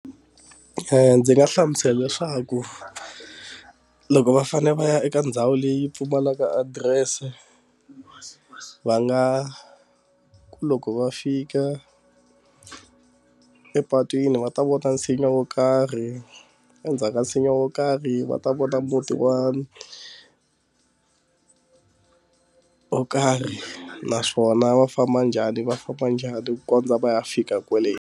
Ndzi nga hlamusela leswaku loko va fanele va ya eka ndhawu leyi pfumalaka adirese va nga ku loko va fika epatwini va ta vona nsinya wo karhi endzhaku ka nsinya wo karhi va ta vona muti wa wo karhi naswona va famba njhani va famba njhani ku kondza va ya fika kwale.